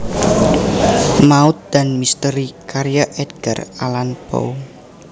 Maut dan Misteri karya Edgar Allan Poe